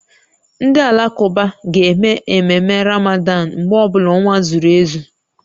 Ndị Alakụba ga-eme ememme Ramadan mgbe ọ bụla ọnwa zuru ezu